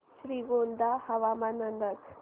श्रीगोंदा हवामान अंदाज